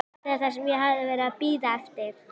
Þetta var það sem ég hafði verið að bíða eftir.